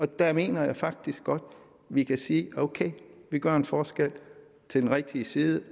der mener jeg faktisk godt at vi kan sige ok vi gør en forskel til den rigtige side